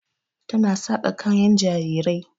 Ta na saƙa kayan jarirai.